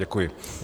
Děkuji.